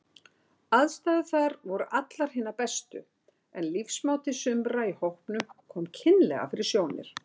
Aðstæður þar voru allar hinar bestu, en lífsmáti sumra í hópnum kom kynlega fyrir sjónir.